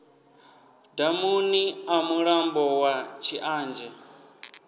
damuni ḽa mulambo wa tshianzhe